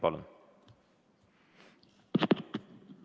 Palun!